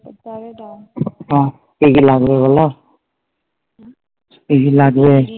হ্যাঁ কি কি লাগবে বলো কি কি লাগবে?